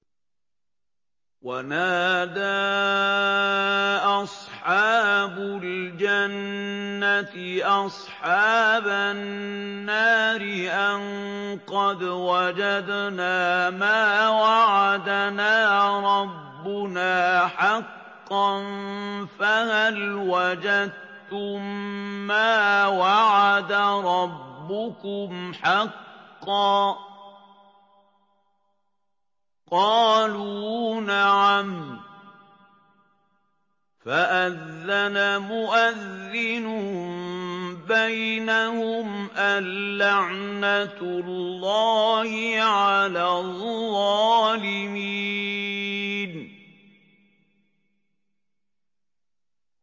وَنَادَىٰ أَصْحَابُ الْجَنَّةِ أَصْحَابَ النَّارِ أَن قَدْ وَجَدْنَا مَا وَعَدَنَا رَبُّنَا حَقًّا فَهَلْ وَجَدتُّم مَّا وَعَدَ رَبُّكُمْ حَقًّا ۖ قَالُوا نَعَمْ ۚ فَأَذَّنَ مُؤَذِّنٌ بَيْنَهُمْ أَن لَّعْنَةُ اللَّهِ عَلَى الظَّالِمِينَ